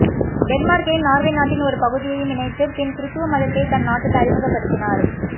டென்மார்க்கையும் Norway நாட்டின் ஒரு பகுதியையும் இணைத்து பின் கிறித்தவ மதத்தைத் தன் நாட்டில் அறிமுகப்படுத்தினார்